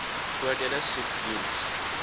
voordele soek diens